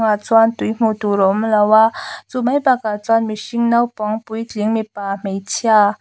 ah chuan tui hmuh tur a awm lo a chu mai bakah chuan mihring naupang puitling mipa hmeichhia--